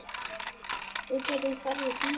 Við gætum farið í bíó.